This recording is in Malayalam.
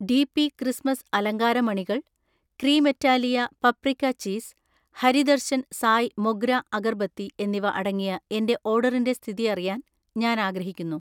ഡി.പി ക്രിസ്മസ് അലങ്കാര മണികൾ, Cremeitalia paprika cheese, Hari Darshan Sai Mogra agarbatti എന്നിവ അടങ്ങിയ എന്‍റെ ഓർഡറിന്‍റെ സ്ഥിതി അറിയാൻ ഞാൻ ആഗ്രഹിക്കുന്നു.